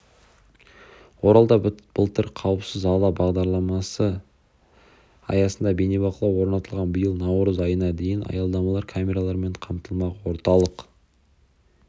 оралда былтыр қауіпсіз аула бағдарламасы аясында бейнебақылау орнатылған биыл наурыз айына дейін аялдамалар камералармен қамтылмақ орталық